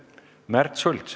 Märt Sults.